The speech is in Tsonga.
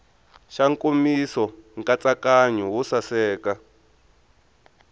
xa nkomiso nkatsakanyo wo saseka